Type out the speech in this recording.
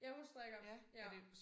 Ja hun strikker ja